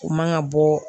U man ka bɔ